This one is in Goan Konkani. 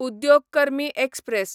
उद्योग कर्मी एक्सप्रॅस